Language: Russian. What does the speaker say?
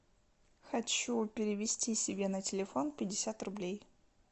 хочу перевести себе на телефон пятьдесят рублей